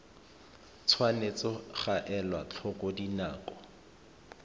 tshwanetse ga elwa tlhoko dinako